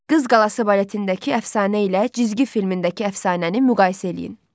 Qız Qalası baletindəki əfsanə ilə cizgi filmindəki əfsanəni müqayisə eləyin.